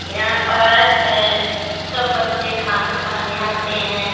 यहां पारक है सब बच्चे खाना खाने आते हैं।